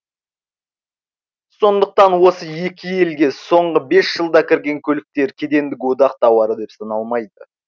сондықтан осы екі елге соңғы бес жылда кірген көліктер кедендік одақ тауары деп саналмайды